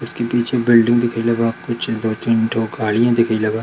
इसके पीछे बिल्डिंग दिखाइले बा कुछ दो-तीन ठो गाड़ियां दिखाइले बा।